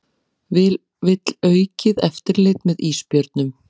Vill aukið eftirlit með ísbjörnum